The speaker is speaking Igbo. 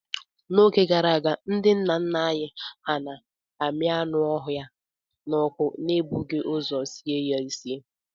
N'oge gara aga, ndi nna nna anyị hà na-ami anụ ọhịa n'ọkụ n'ebughị ụzọ sie ha esie.